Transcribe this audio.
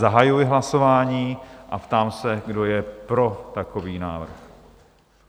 Zahajuji hlasování a ptám se, kdo je pro takový návrh?